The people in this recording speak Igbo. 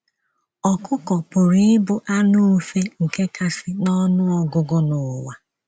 ỌKỤKỌ pụrụ ịbụ anụ ufe nke kasị n’ọnụ ọgụgụ n’ụwa.